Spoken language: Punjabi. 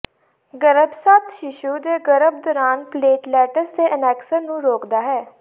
ਗਰੱਭਸਥ ਸ਼ੀਸ਼ੂ ਦੇ ਗਰਭ ਦੌਰਾਨ ਪਲੇਟਲੇਟਸ ਦੇ ਅਨੈਕਸਨ ਨੂੰ ਰੋਕਦਾ ਹੈ